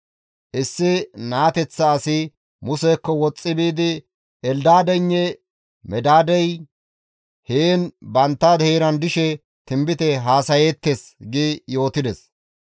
Issi naateththa asi Musekko woxxi biidi, «Eldaadeynne Medaadey heen bantta heeran dishe tinbite haasayeettes» gi yootides.